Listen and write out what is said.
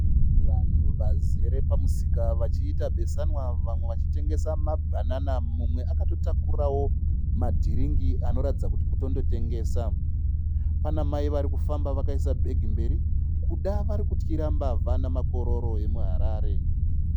Vanhu vazere pamusika vachiita besanwa. Vamwe vachitengesa mabhanana mumwe akatotakurawo madhiringi anoratidza kuti kutondotengesa. Pana mai varikufamba vakaisa bhegi mberi kuda vari kutyira mavha namakororo emuHarare.